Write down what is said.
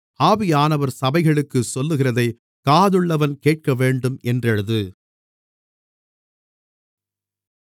ஆவியானவர் சபைகளுக்குச் சொல்லுகிறதைக் காதுள்ளவன் கேட்கவேண்டும் என்று எழுது